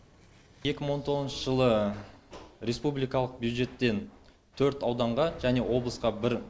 екі мың он тоғызыншы жылы республикалық бюджеттен төрт ауданға және облысқа бір